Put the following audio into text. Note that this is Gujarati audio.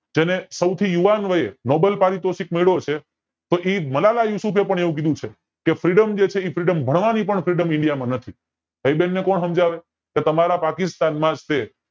જેને સૌથી યુવાન વયે nobel પારિતોષીક મળ્યો છે તો ઈ મલાળા યુશુફે પણ એવું કીધું છે કે freedom જે છે એ freedom ભણવાની પણ freedom india નથી હવે ઈ બેન બે કોણ સમજાવે